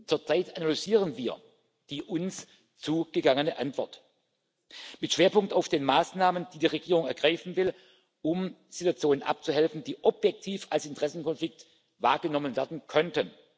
Zurzeit analysieren wir die uns zugegangene Antwort mit Schwerpunkt auf den Maßnahmen, die die Regierung ergreifen will, um Situationen abzuhelfen, die objektiv als Interessenkonflikt wahrgenommen werden könnten.